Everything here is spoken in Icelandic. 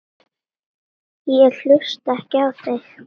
Ég hlusta ekki á þig.